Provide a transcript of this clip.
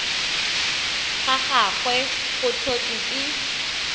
ga gagwe go tlhotswe ke